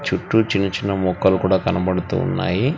చుట్టూ చిన్న చిన్న మొక్కలు కూడా కనబడుతూ ఉన్నాయి.